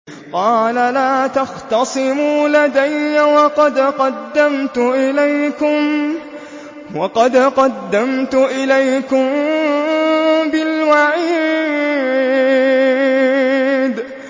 قَالَ لَا تَخْتَصِمُوا لَدَيَّ وَقَدْ قَدَّمْتُ إِلَيْكُم بِالْوَعِيدِ